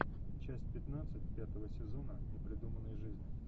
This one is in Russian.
часть пятнадцать пятого сезона непридуманной жизни